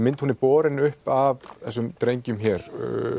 mynd hún er borin upp af þessum drengjum hér